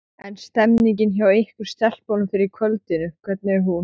En stemningin hjá ykkur stelpunum fyrir kvöldinu, hvernig er hún?